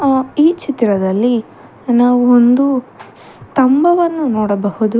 ಅ ಈ ಚಿತ್ರದಲ್ಲಿ ನಾವು ಒಂದು ಸ್ತಂಭವನ್ನು ನೋಡಬಹುದು.